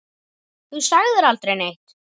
Þú sagðir aldrei neitt.